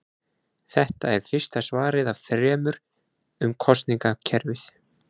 Þetta er fyrsta svarið af þremur um kosningakerfið.